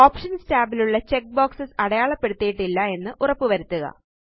options ടാബിലുള്ള check box അടയാളപ്പെടുത്തിയിട്ടില്ല എന്ന് ഉറപ്പുവരുത്തുക